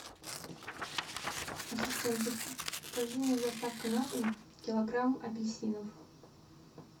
ассистент закажи мне с доставкой на дом килограмм апельсинов